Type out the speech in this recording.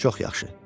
Çox yaxşı.